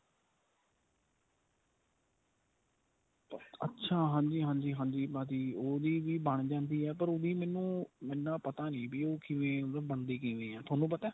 ਅੱਛਾ ਹਾਂਜੀ ਹਾਂਜੀ ਹਾਂਜੀ ਭਾਜੀ ਉਹ ਵੀ ਬਣ ਜਾਂਦੀ ਏ ਪਰ ਉਹ ਵੀ ਮੈਨੂੰ ਇੰਨਾ ਪਤਾ ਨੀ ਵੀ ਉਹ ਕਿਵੇਂ ਮਤਲਬ ਬਣਦੀ ਕਿਵੇਂ ਏ ਤੁਹਾਨੂੰ ਪਤਾ